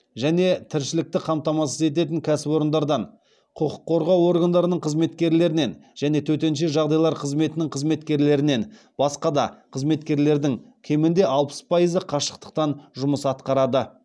және тіршілікті қамтамасыз ететін кәсіпорындардан құқық қорғау органдарының қызметкерлерінен және төтенше жағдайлар қызметінің қызметкерлерінен басқа да қызметкерлердің кемінде алпыс пайызы қашықтықтан жұмыс атқарады